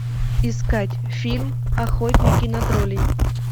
искать фильм охотники на троллей